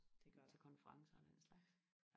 der gør til konferencer og den slags